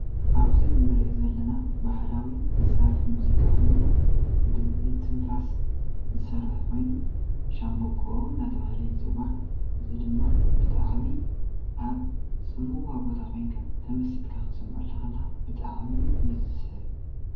ኣብዚ እንሪኦ ዘለና ባህላዊ መስርሒ ሙዚቃ ኮይኑ ብ እንትፋስ ዝሰርሕ ኮይኑ ሻንባቆ እናተብሃለ ይፅዋዕ። እዚ ድማ ብጣዕሚ ኣብ ፅምዋ ቦታ ኮይንካ ተመሲጥካ ክትሰምዐሉ እንከለካ ብጣዕሚ እዩ ዝስሕብ።